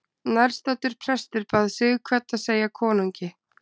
Nærstaddur prestur bað Sighvat að segja konungi.